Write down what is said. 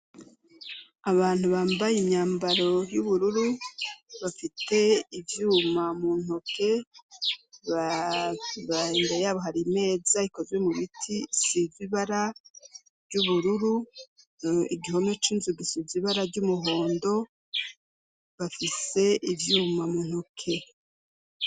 Abantu bambaye imyambaro y'ubururu bafite ivyuma mu ntoke imbere yabo hari imeza ikozwe mu biti isize ibara ry'ubururu, igihome c'inzu gisize ibara ry'umuhondo, bafise ivyuma mu ntoke.